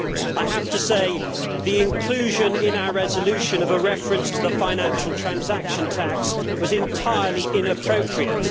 I have to say that the inclusion in our resolution of a reference to the financial transaction tax was entirely inappropriate.